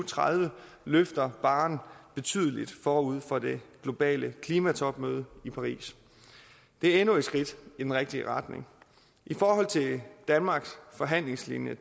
tredive løfter barren betydeligt forud for det globale klimatopmøde i paris det er endnu et skridt i den rigtige retning i forhold til danmarks forhandlingslinje